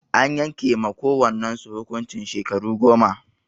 An yanke ma kowannan su hukuncin shekaru goma.